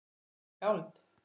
Hann er skáld